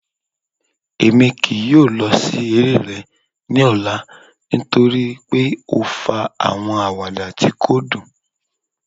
Emi kii yoo lọ si ere rẹ ni ọla nitori pe o fa awọn awada ti ko dun